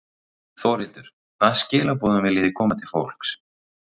Þórhildur: Hvaða skilaboðum viljið þið koma til fólks?